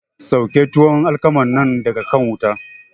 Sauke tuwon alkaman nan daga kan wuta!